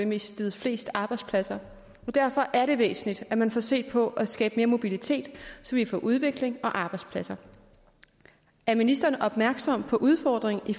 mistet flest arbejdspladser derfor er det væsentligt at man får set på at skabe mere mobilitet så vi får udvikling og arbejdspladser er ministeren opmærksom på udfordringen i